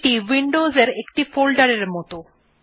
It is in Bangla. এইটি উইন্ডোস এর একটি ফোল্ডার এর মতন